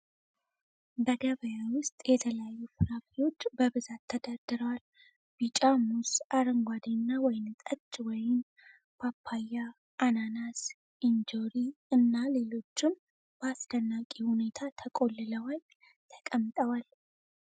በገበያ ውስጥ የተለያዩ ፍራፍሬዎች በብዛት ተደርድረዋል። ቢጫ ሙዝ፣ አረንጓዴና ወይንጠጅ ወይን፣ ፓፓያ፣ አናናስ፣ እንጆሪ እና ሌሎችም በአስደናቂ ሁኔታ ተቆልለዋል ተቀምጠዋል።